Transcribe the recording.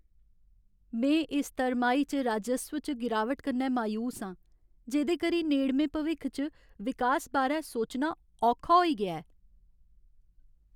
में इस तरमाही च राजस्व च गिरावट कन्नै मायूस आं, जेह्दे करी नेड़में भविक्ख च विकास बारै सोचना औखा होई गेआ ऐ।